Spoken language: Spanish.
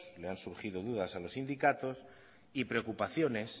le han surgido dudas a los sindicatos y preocupaciones